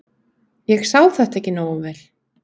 Ég sá þetta ekki nógu vel.